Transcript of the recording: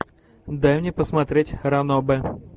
дай мне посмотреть ранобэ